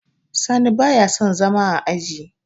sani ba ya son zama a aji